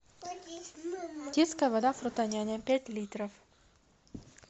детская вода фрутоняня пять литров